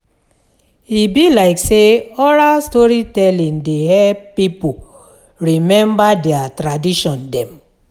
E be like sey oral storytelling dey help pipo rememba their tradition dem.